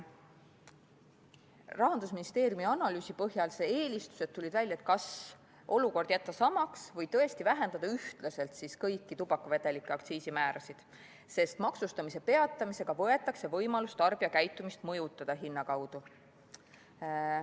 Rahandusministeeriumi analüüsi põhjal tulid välja eelistused, kas olukord jätta samaks või tõesti vähendada ühtlaselt kõiki tubakavedelike aktsiisimäärasid, sest maksustamise peatamisega võetakse võimalus mõjutada tarbijakäitumist hinna kaudu.